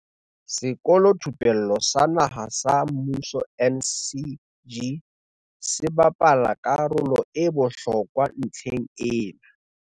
Sekolothupello sa Naha sa Mmuso, NSG, se bapala ka rolo e bohlokwa ntlheng ena.